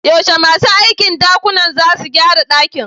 Yaushe masu aikin dakuna zasu gyara dakin?